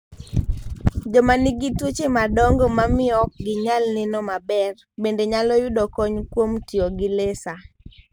Joma nigi tuoche madongo ma miyo ok ginyal neno maber, bende nyalo yudo kony kuom tiyo gi laser.